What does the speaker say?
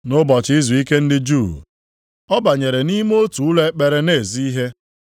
Nʼụbọchị izuike ndị Juu, ọ banyere nʼime otu ụlọ ekpere na-ezi ihe.